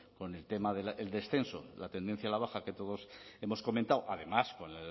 con el tema del descenso la tendencia a la baja que todos hemos comentado además con